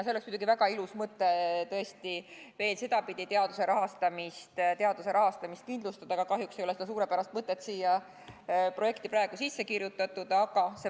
See oleks muidugi väga ilus mõte veel sedapidi teaduse rahastamist kindlustada, aga kahjuks ei ole seda suurepärast mõtet siia projekti praegu sisse kirjutatud.